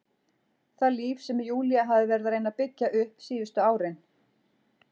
Það líf sem Júlía hafði verið að reyna að byggja upp síðustu árin.